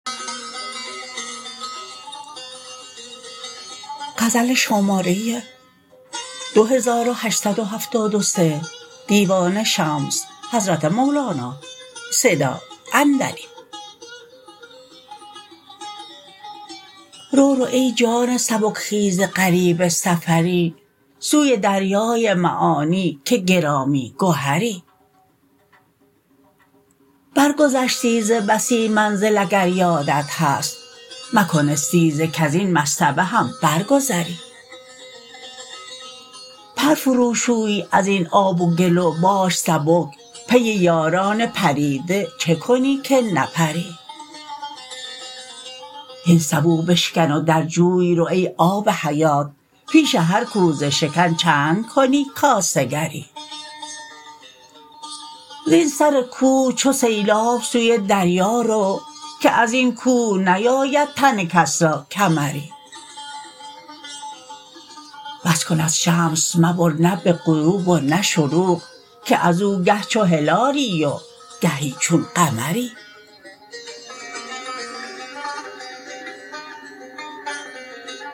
رو رو ای جان سبک خیز غریب سفری سوی دریای معانی که گرامی گهری برگذشتی ز بسی منزل اگر یادت هست مکن استیزه کز این مصطبه هم برگذری پر فروشوی از این آب و گل و باش سبک پی یاران پریده چه کنی که نپری هین سبو بشکن و در جوی رو ای آب حیات پیش هر کوزه شکن چند کنی کاسه گری زین سر کوه چو سیلاب سوی دریا رو که از این کوه نیاید تن کس را کمری بس کن از شمس مبر نه به غروب و نه شروق که از او گه چو هلالی و گهی چون قمری